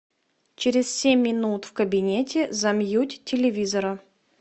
через семь минут в кабинете замьють телевизора